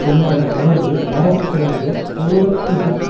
என்ற உணர்வு ஆரம்பத்திலிருந்து போருக்கு எதிர்ப்பு